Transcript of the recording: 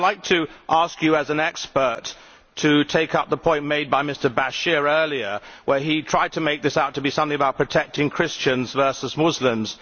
But I would like to ask you as an expert to take up the point made by Mr Bashir earlier, where he tried to make this out to be something about protecting Christians versus Muslims.